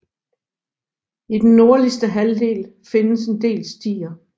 I den nordligste halvdel findes en del stier